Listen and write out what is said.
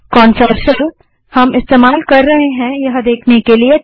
कौन सा शेल हम इस्तेमाल कर रहे हैं यह देखने के लिए